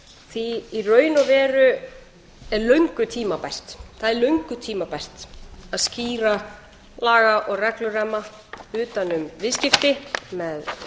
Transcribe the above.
því í raun og veru er löngu tímabært það er löngu tímabært að skýra laga og regluramma utan um viðskipti með